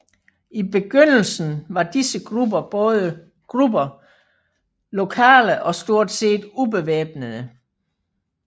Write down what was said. I begyndelsen var disse grupper lokale og stort set ubevæbnede